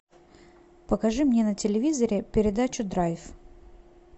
покажи мне на телевизоре передачу драйв